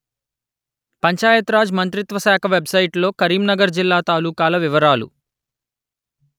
పంచాయత్ రాజ్ మంత్రిత్వ శాఖ వెబ్‌సైటులో కరీంనగర్ జిల్లా తాలూకాల వివరాలు